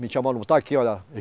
Me chamou aqui, olha.